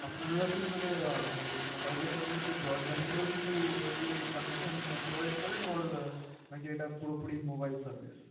আপনার কি মোবাইলের সাথে সাথে Broadband এর ও কিছু Connection provide করেন Or নাকি এটা পুরোপুরি মোবাইল সার্ভিস